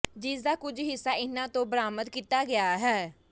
ਜਿਸ ਦਾ ਕੁੱਝ ਹਿੱਸਾ ਇਹਨਾਂ ਤੋਂ ਬਰਾਮਦ ਕੀਤਾ ਗਿਆ ਹੈ